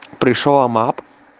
пришёл амап